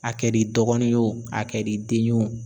A kɛr'i dɔgɔnin ye o a kɛr'i den ye o